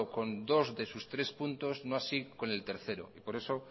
con dos de sus tres puntos no así con el tercero por eso